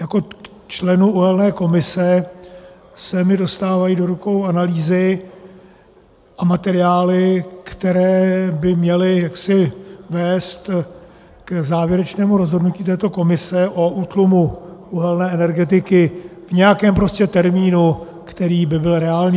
Jako členu uhelné komise se mi dostávají do rukou analýzy a materiály, které by měly vést k závěrečnému rozhodnutí této komise o útlumu uhelné energetiky v nějakém termínu, který by byl reálný.